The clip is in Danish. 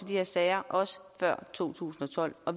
her sager også før to tusind og tolv og